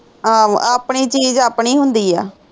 ਆਹ ਆਪਣੀ ਚੀਜ ਆਪਣੀ ਹੁੰਦੀ ਆ